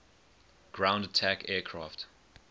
ground attack aircraft